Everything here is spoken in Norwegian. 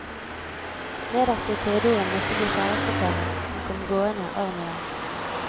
Nederst i korridoren møtte vi kjæresteparet som komgående arm i arm.